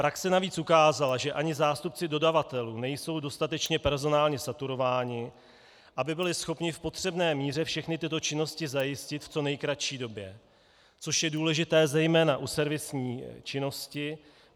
Praxe navíc ukázala, že ani zástupci dodavatelů nejsou dostatečně personálně saturováni, aby byli schopni v potřebné míře všechny tyto činnosti zajistit v co nejkratší době, což je důležité zejména u servisní činnosti.